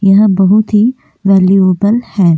यह बहुत ही वैल्युएबल है।